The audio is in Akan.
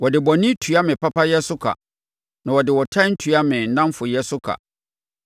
Wɔde bɔne tua me papayɛ so ka, na wɔde ɔtan tua me nnamfoyɛ so ka.